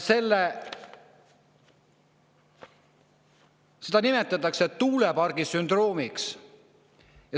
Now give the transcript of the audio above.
Seda nimetatakse tuulepargi sündroomiks.